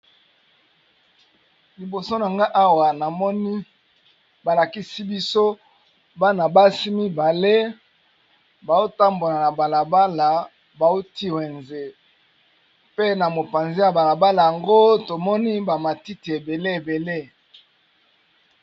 Liboso nanga awa namoni ba lakisi biso bana basi mibale bao tambona na bala bala bauti wenze pe na mopanzi ya bala bala yango tomoni ba matiti ebele ebele.